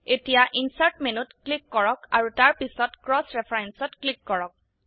এতিয়া ইনচাৰ্ট মেনুত ক্লিক কৰক আৰু তাৰপিছত ক্ৰচ referenceত ক্লিক কৰক